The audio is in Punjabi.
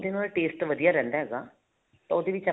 taste ਵਧੀਆ ਰਹਿੰਦਾ ਇਹਦਾ ਤਾਂ ਉਹਦੇ ਵਿੱਚ